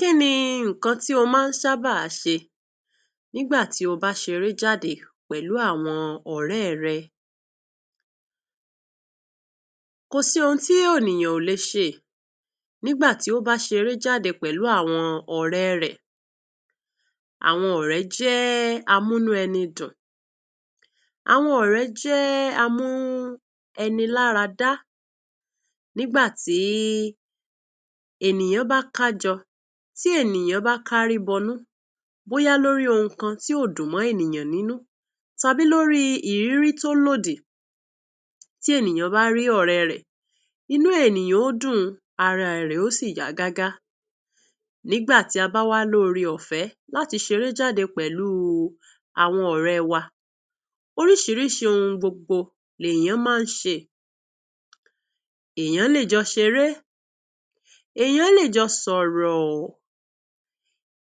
Kíni ìkàn tí ọ ma ṣàbá ṣe nígbà tí ó bá ṣeré jáde pẹ.̀lú àwọn ọ.̀ rẹ.́ rẹ? Kò sí ohun tí ènìyàn ò lè ṣe nígbà tí ó bá ṣeré jáde pẹ.̀lú àwọn ọ.̀ rẹ.́. Àwọn ọ.̀ rẹ.́ jẹ.́ àmú-inú-ènìyàn-dùn, àwọn ọ.̀ rẹ.́ jẹ.́ àmúni láradá. Nígbà tí ènìyàn bá ká jọ, tí ènìyàn bá ká rì bọ.̀ nú, bóyá lórí ohun kan tí kò dùn mọ́. inú, tàbí lórí ìrírí tó lòdì, tí ènìyàn bá rí ọ.̀ rẹ.́, inú ènìyàn yóò dùn, ararẹ yóò sì yà gágá. Nígbà tí a bá wá rí ọ.̀ rẹ.́ ọ.̀ fẹ.́ láti ṣeré jáde pẹ.̀lú àwọn ọ.̀ rẹ.́ wa, oríṣìíríṣìí ohun gbogbo lè yán ńlá. Ènìyàn lè jọ ṣeré, ènìyàn lè jọ sọ.̀ rọ.̀,